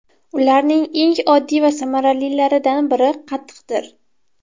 Ularning eng oddiy va samaralilaridan biri qatiqdir.